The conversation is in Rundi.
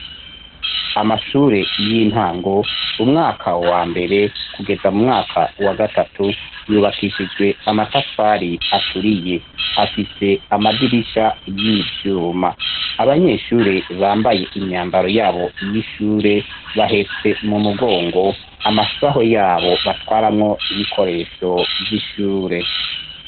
Amashure y'intango umwaka wambere kugeza mumwaka wagatatu yubakishijwe amatafari aturiye afise amadirisha y'ivyuma. Abanyeshure bambaye imyambaro yabo y'ishure bahetse m'umugongo amasaho yabo batwaramwo ibikoresho vy'ishure.